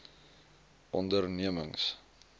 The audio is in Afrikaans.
ondernemings